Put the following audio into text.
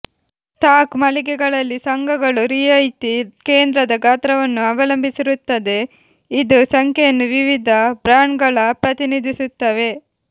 stock ಮಳಿಗೆಗಳಲ್ಲಿ ಸಂಘಗಳು ರಿಯಾಯಿತಿ ಕೇಂದ್ರದ ಗಾತ್ರವನ್ನು ಅವಲಂಬಿಸಿರುತ್ತದೆ ಇದು ಸಂಖ್ಯೆಯನ್ನು ವಿವಿಧ ಬ್ರ್ಯಾಂಡ್ಗಳ ಪ್ರತಿನಿಧಿಸುತ್ತವೆ